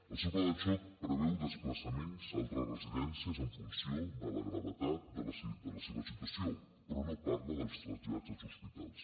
el seu pla de xoc preveu desplaçaments a altres residències en funció de la gravetat de la seva situació però no parla dels trasllats als hospitals